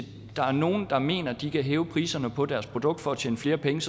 der er nogle der mener at de kan hæve priserne på deres produkt for at tjene flere penge